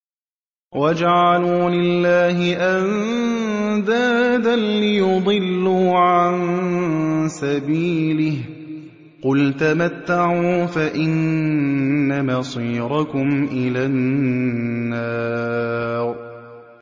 وَجَعَلُوا لِلَّهِ أَندَادًا لِّيُضِلُّوا عَن سَبِيلِهِ ۗ قُلْ تَمَتَّعُوا فَإِنَّ مَصِيرَكُمْ إِلَى النَّارِ